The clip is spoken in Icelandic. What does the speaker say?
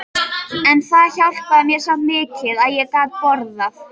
En það hjálpaði mér samt mikið að ég gat borðað.